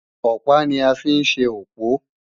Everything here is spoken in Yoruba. Ọ̀pá ni a fi ń ṣe òpó